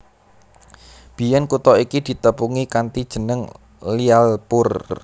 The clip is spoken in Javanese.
Biyèn kutha iki ditepungi kanthi jeneng Lyallpur